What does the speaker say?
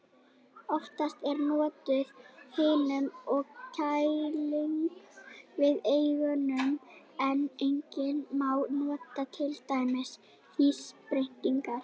Oftast er notuð hitun og kæling við eimingu en einnig má nota til dæmis þrýstingsbreytingar.